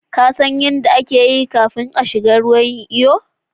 ƙasan yadda ake iyo kafin kashiga ruwa yin iyo